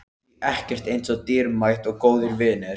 Því ekkert er eins dýrmætt og góðir vinir.